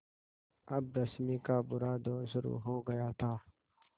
अब रश्मि का बुरा दौर शुरू हो गया था